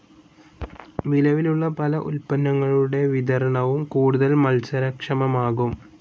നിലവിലുള്ള പല ഉത്പന്നങ്ങളുടെ വിതരണവും കൂടുതൽ മത്സര ക്ഷമമാകും.